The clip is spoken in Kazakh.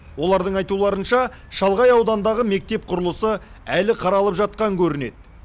олардың айтуларынша шалғай аудандағы мектеп құрылысы әлі қаралып жатқан көрінеді